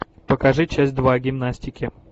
покажи часть два гимнастики